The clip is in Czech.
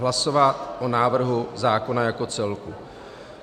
Hlasovat o návrhu zákona jako celku.